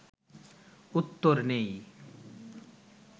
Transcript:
উত্তর নেই